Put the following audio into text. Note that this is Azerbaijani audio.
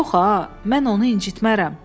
Yox ha, mən onu incitmərəm.